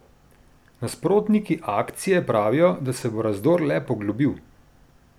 Nasprotniki akcije pravijo, da se bo razdor le poglobil.